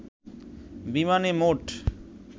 বিমানে মোট